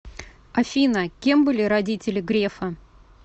афина кем были родители грефа